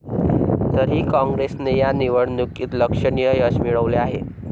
तरीही काँग्रेसने या निवडणुकीत लक्षणीय यश मिळवले आहे.